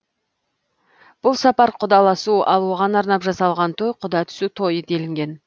бұл сапар құдаласу ал оған арнап жасалған той құда түсу тойы делінген